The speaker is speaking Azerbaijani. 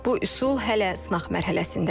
Bu üsul hələ sınaq mərhələsindədir.